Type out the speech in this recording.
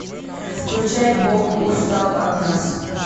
включай бог устал от нас